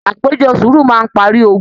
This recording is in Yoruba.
Àpéjọ sùúrù máa n parí ògùn.